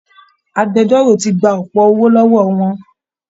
Agbẹjọ́rò ti gba ọ̀pọ̀ owó lọ́wọ́ wọn